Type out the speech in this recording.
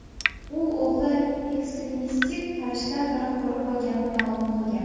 U o‘g‘li ekstremistik qarashlar tarafdori bo‘lganini ma’lum qilgan.